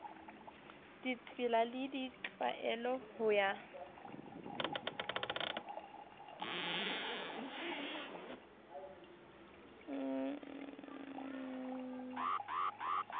ditsela le ditlwaelo ho ya